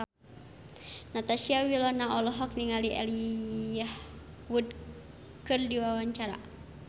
Natasha Wilona olohok ningali Elijah Wood keur diwawancara